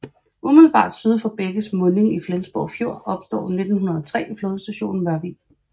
Umiddelbart syd for bækkes munding i Flensborg Fjord opstår 1903 flådestationen Mørvig